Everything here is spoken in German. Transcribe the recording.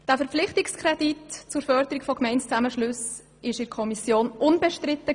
Dieser Verpflichtungskredit war in der Kommission unbestritten.